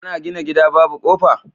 Ana gina gida Babu kofa